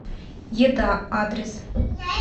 еда адрес